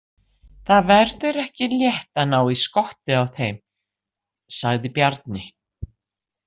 Það verður ekki létt að ná í skottið á þeim, sagði Bjarni.